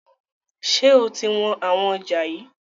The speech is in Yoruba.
Ṣé o ti wọn àwọn ọjà yii?